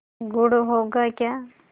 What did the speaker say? गुड़ होगा क्या